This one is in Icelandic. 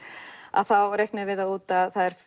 þá reiknuðum við það út að það